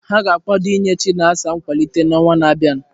Ha ga-akwado inye Chinasa nkwalite n'ọnwa na-abịa.